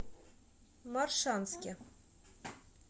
моршанске